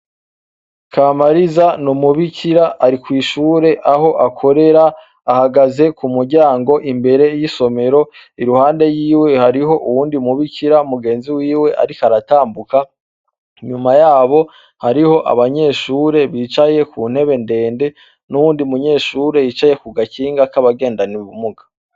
KAMARIZA numubikira ari kwishure aho akorera ahagaze kumuryago imbere yisomero iruhande yiwe hariho uwundi mubikira mugenzi wiwe ariko aratambuka, inyuma yabo hariho abanyeshure bicaye kuntebe ndende nuwundi munyeshure yicaye kugakinga kabagendana ubumuga.